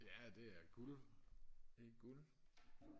ja det er guld det er guld